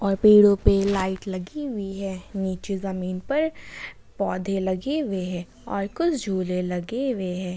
और पेड़ो पे लाइट लगी हुई है नीचे जमीन पर पौधे लगे हुए है और कुछ झूले लगे हुए है।